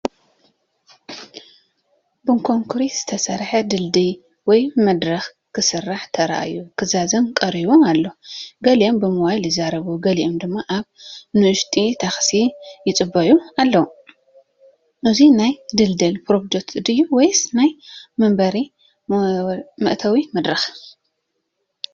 ብኮንክሪት ዝተሰርሐ ድልድል ወይ መድረኽ ክስራሕ ተራእዩ ክዛዘም ቀሪቡ ኣሎ። ገሊኦም ብሞባይል ይዛረቡ፡ ገሊኦም ድማ ኣብ ንኣሽቱ ታክሲታት ይጽበዩ ኣለዉ። እዚ ናይ ድልድል ፕሮጀክት ድዩ ወይስ ናይ መንበሪ መእተዊ መድረኽ ?